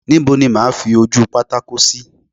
Níbo ni mo máa fi ojúpátákó sí?